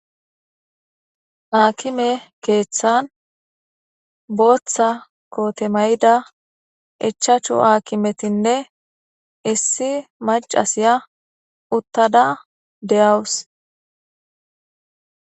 Akime kethan Botha kote Mayida Ichachu akimetinne issi macasiya utada deyswus